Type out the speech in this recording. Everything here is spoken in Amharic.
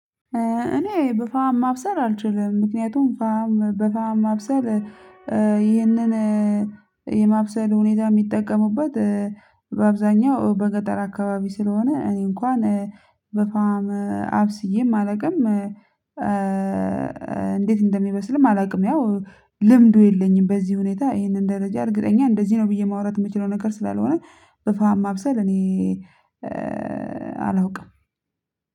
እኔ በፋም ማብሰል አልችልም ምክንያቱም ፋም በፋም ማብሰል ይህንን ሁኔታ የሚጠቀሙበት በአብዛኛው በገጠር አካባቢ ስለሆነ እኔ እንኳን በፋም አብስዬም አላውቅም። እንዴት እንደሚበስልም አላውቅም። ያው ልምዱ የለኝም። በዚህ ሁኔታ ይሄንን ደረጃ እርግጠኛ እንደዚህ ነው ብዬ ማውራት የምችለው ነገር ስላልሆነ በፋም ማብሰል እኔ አላውቅም